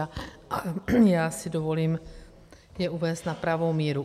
A já si dovolím je uvést na pravou míru.